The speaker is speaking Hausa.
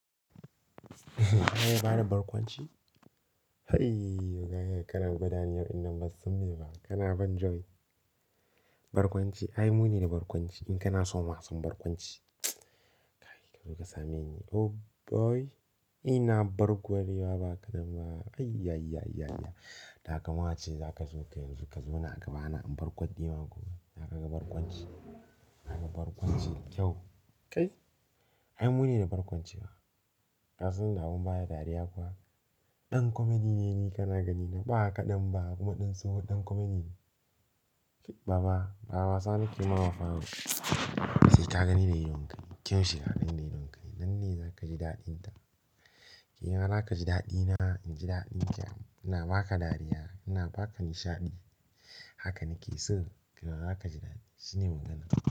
Ka iya bada barkwanci? Hai waga yaya karin gudaniyar inda bazan sani ba. Kana ban joy. Barkwanci, ai mu ne da barkwanci. In kana so masu barkwanci, ka zo ka same ni. Oh boy! Ina barkwaluwa ba kaɗan ba. Ay ya ya ya ya. Ta kama ace za ka zo ka yanzu ka zo na gaba, na in barku dima gobe. Za ka ga barkwanci. Za ka ga barkwanci kyau. Kai, ai mu ne da barkwancewa. Kasan da mun baya dariya kuwa. Dan comedy ne ni kana gani, na ba ka ɗan ba kuma ɗan sohu, ɗan comedy ne. Baba, ba wasa nake yi ma bafa. Sai ka gani da idon ka, kyau shi ka gani da idon ka. Nan ne za ka ji daɗin ta. Nima za ka ji daɗi na. In ji daɗi itya. Ina ba ka dariya, ina ba ka nishaɗi. Haka nake so ki yiwala za ka ji daɗi. Shine magana.